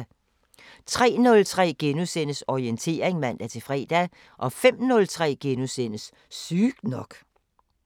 03:03: Orientering *(man-fre) 05:03: Sygt nok *